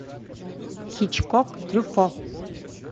хичкок трюффо